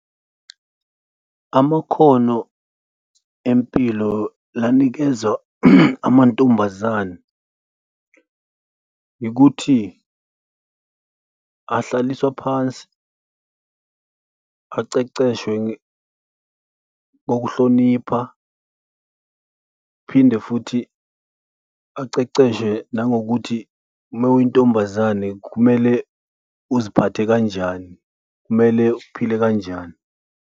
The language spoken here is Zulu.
Amakhono empilo la anikezwa amantombazane yikuthi ahlaliswa phansi aqeqeshwe kokuhlonipha, phinde futhi aqeqeshwe nangokuthi uma uyintombazane, kumele uziphathe kanjani, kumele uphile kanjani.